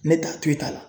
Ne t'a to i t'a la